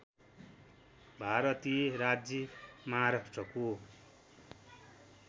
भारतीय राज्य महाराष्ट्रको